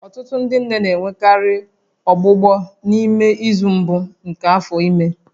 Ọtụtụ ndị nne na-enwekarị ọgbụgbọ n'ime izu mbụ nke afọ ime